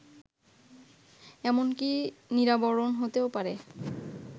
এমনকি নিরাবরণ হতেও পারে